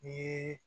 Ni